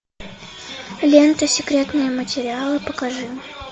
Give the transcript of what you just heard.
лента секретные материалы покажи